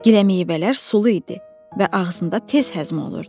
Giləmeyvələr sulu idi və ağzında tez həzm olurdu.